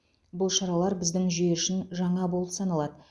бұл шаралар біздің жүйе үшін жаңа болып саналады